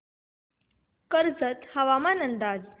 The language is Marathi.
कर्जत हवामान अंदाज